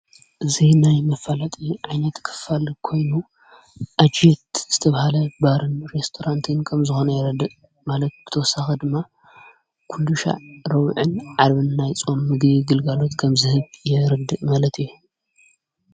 እዙይ ናይ መፋለጥ ዓይነት ክፋል ኮይኑ ኣጀት ዝተብሃለ ባርን ሬስቶራንትን ከም ዝኾነ ይረድቕ መለቲ ክተወሳኺ ድማ ኲሉሻ ሮውዕን ዓርብን ናይ ፆም ምጊ ግልጋሉት ከም ዝህብ የርድእ መለጥ እዩ።